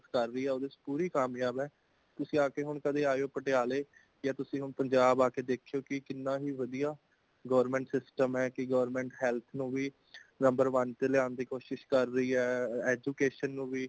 ਓਧੇ ਚ ਇਚ ਪੂਰੀ ਕਾਮਯਾਬ ਹੈ ,ਤੁਸੀਂ ਆਕੇ ਹੋਣ ਕਦੇ ਆਇਓ ਪਟਿਆਲੇ ਕੇ ਤੁਸੀਂ ਹੁਣ ਪੰਜਾਬ ਆਕੇ ਦੇਖਿਓ ਕਿ |ਕੇ ਕਿੰਨਾ ਹੀ ਵਧਿਆ government system ਹੈ, ਕਿ government health ਨੂੰ ਵੀ , number one ਤੇ ਲਿਆਣ ਦੀ ਕੋਸਿਸ ਕਰ ਰਹੀ ਹੈ | education ਨੂੰਵੀ।